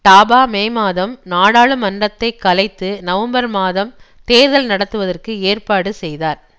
டாபா May மாதம் நாடாளுமன்றத்தை கலைத்து நவம்பர் மாதம் தேர்தல் நடத்துவதற்கு ஏற்பாடு செய்தார்